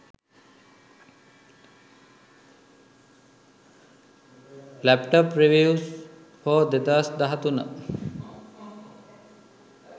laptop reviews for 2013